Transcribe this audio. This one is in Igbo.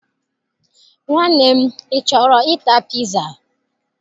Nwanne m, ị chọrọ ịta piza?